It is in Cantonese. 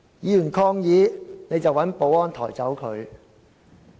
議員抗議，你便請保安抬走議員。